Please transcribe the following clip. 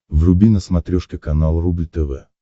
вруби на смотрешке канал рубль тв